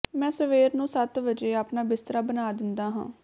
ਮੈਂ ਸਵੇਰ ਨੂੰ ਸੱਤ ਵਜੇ ਆਪਣਾ ਬਿਸਤਰਾ ਬਣਾ ਦਿੰਦਾ ਹਾਂ